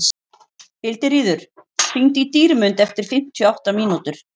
Hildiríður, hringdu í Dýrmund eftir fimmtíu og átta mínútur.